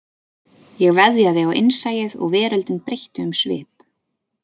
Ég veðjaði á innsæið og veröldin breytti um svip